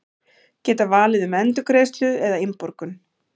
Geta valið um endurgreiðslu eða innborgun